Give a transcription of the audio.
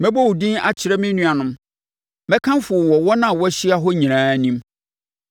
Mɛbɔ wo din akyerɛ me nuanom; mɛkamfo wo wɔ wɔn a wɔahyia hɔ no nyinaa anim.